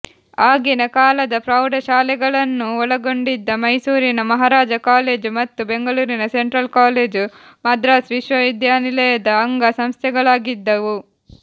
ಆಗಿನ ಕಾಲದ ಪ್ರೌಢಶಾಲೆಗಳನ್ನೂ ಒಳಗೊಂಡಿದ್ದ ಮೈಸೂರಿನ ಮಹಾರಾಜಾ ಕಾಲೇಜು ಮತ್ತು ಬೆಂಗಳೂರಿನ ಸೆಂಟ್ರಲ್ ಕಾಲೇಜು ಮದ್ರಾಸ್ ವಿಶ್ವವಿದ್ಯಾನಿಲಯದ ಅಂಗ ಸಂಸ್ಥೆಗಳಾಗಿದ್ದುವು